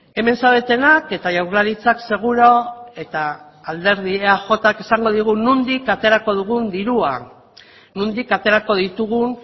hemen zaudetenak eta jaurlaritzak seguru eta alderdia eaj esango nondik aterako dugun dirua nondik aterako ditugun